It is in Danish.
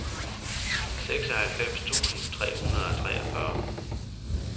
seksoghalvfems tusind tre hundrede og treogfyrre